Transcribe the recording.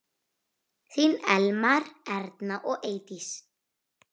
Þín Elmar, Erna og Eydís.